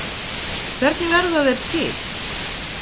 Hvernig verða þeir til?